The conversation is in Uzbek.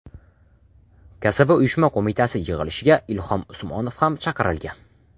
Kasaba uyushma qo‘mitasi yig‘ilishiga Ilhom Usmonov ham chaqirilgan.